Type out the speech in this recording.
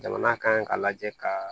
Jamana kan ka lajɛ ka